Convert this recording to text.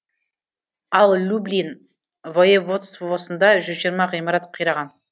ал люблин воеводствосында жүз жиырма ғимарат қираған